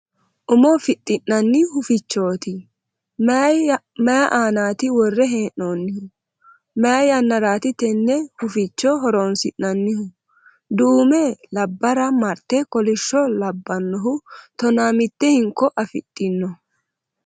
Umo fixxi'nanni hufichooti. Mayi aanaati worre hee'noonnihu ? Mayi yannaraati te huficho horoonsi'nannihu ? Duume labbara marte kolishsho labbannohu tonaa mitte hinko afidhino.